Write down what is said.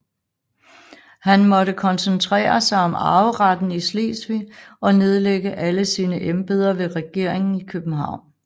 Han måtte koncentrere sig om arveretten i Slesvig og nedlægge alle sine embeder ved regeringen i København